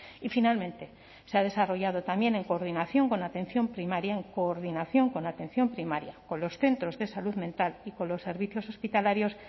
y finalmente se ha desarrollado también en coordinación con la atención primaria en coordinación con atención primaria con los centros de salud mental y con los servicios hospitalarios